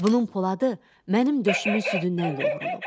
Bunun poladı mənim döşümün südündən yoğrulub.